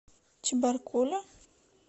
чебаркуля